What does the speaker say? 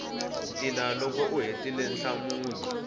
ntila loko u hetile nhlamulo